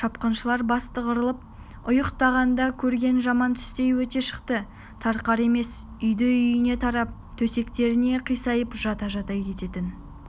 шапқыншылар бастығырылып ұйықтағанда көрген жаман түстей өте шықты тарқар емес үйді-үйіне тарап төсектеріне қисайып жата-жата кететін